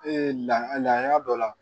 lahalaya dɔ la